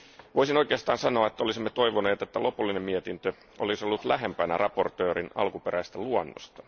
Voisin oikeastaan sanoa, että olisimme toivoneet, että lopullinen mietintö olisi ollut lähempänä esittelijän alkuperäistä luonnosta.